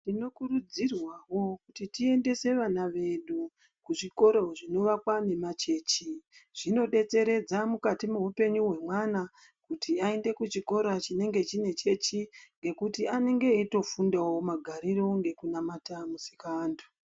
Tinokurudzirwawo kuuti tiendese vana vedu kuzvikora zvinoakwa ngemachechi zvinodetseredza mukati meupenyu hwemwana ngekuti aende kuchikora chinechechi kuti anenge eitofundawo magariro nekunamata Musikaanthu.